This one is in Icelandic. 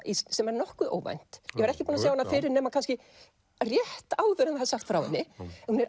sem er nokkuð óvænt ég var ekki búin að sjá hana fyrir nema kannski rétt áður en það er sagt frá henni hún er